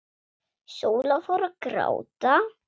Sóla fór að gráta.